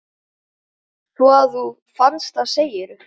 Svo að þú fannst það, segirðu?